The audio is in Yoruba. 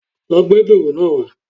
Lo gbé dùrù náá wá